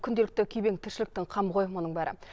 күнделікті күйбең тіршіліктің қамы ғой мұның бәрі